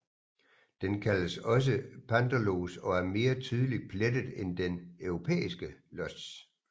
Den kaldes også panterlos og er mere tydeligt plettet end den europæiske los